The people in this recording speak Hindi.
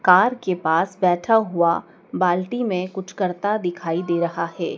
कार के पास बैठा हुआ बाल्टी में कुछ करता दिखाई दे रहा है।